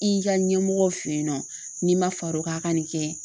I ka ɲɛmɔgɔ fe yen nɔ n'i ma far'o kan a' ka nin kɛ